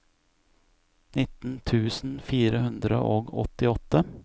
nittien tusen fire hundre og åttiåtte